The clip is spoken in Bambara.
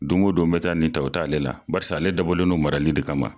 Don o don mɛ taa nin ta o t'ale la barisa ale dabɔlen no marali de kama.